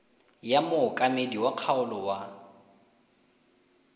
ya mookamedi wa kgaolo wa